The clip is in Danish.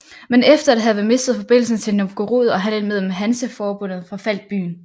Men efter at have mistet forbindelsen til Novgorod og handlen med Hanseforbundet forfaldt byen